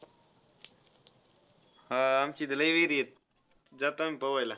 हा, आमचं इथं लय विहिरी आहेत. जातो आम्ही पोवायला.